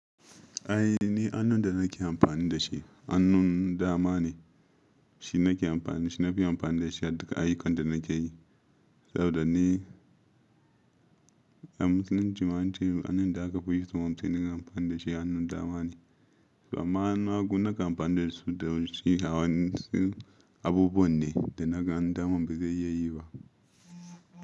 Ai ni hannun da nake amfani da shi, hannun dama ne, shi nake amfani, shi na fi amfani da shi a duka ayyukan da nake yi. Saboda ni, a Musulun ci ma ance hannun da aka fi so mutane su yi amfani da shi hannun dama ne. To amma hannun hagu nakan amfani da su da yanci, hawan su abubuwan ne da na gani hannun daman ba zai iya yi ba.